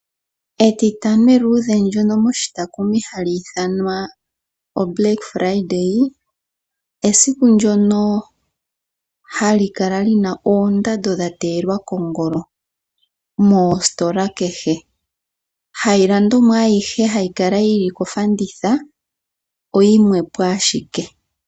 Etitano eludhe ndyoka hali ithanwa oblack Friday moshitakumi, esiku ndjono hali kala lina oondando dhateyelwa kongolo moositola kehe. Hayi ilandomwa ayihe hayi kala yili kofanditha oyimwepo ashike.